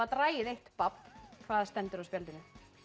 dragið eitt babb hvað stendur á spjaldinu